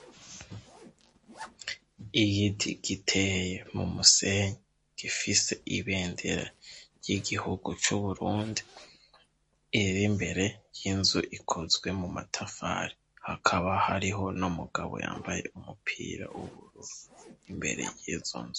Igiti giteye mu musenyi gifise ibendera ry'igihugu c'Uburundi iri mbere y'inzu ikozwe mu matafari hakaba hariho n'umugabo yambaye umupira w'ubururu imbere y'izo nzu.